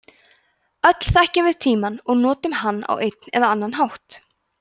öll þekkjum við tímann og notum hann á einn eða annan hátt